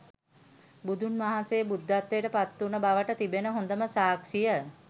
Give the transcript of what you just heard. බුදුන් වහන්සේ බුද්ධත්වයට පත් වුන බවට තිබෙන හොඳම සාක්ෂිය